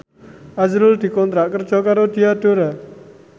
azrul dikontrak kerja karo Diadora